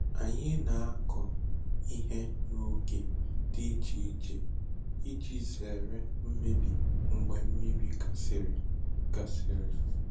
Anyị na-akọ ihe n’oge dị iche iche iji zere mmebi mgbe mmiri gasịrị. gasịrị.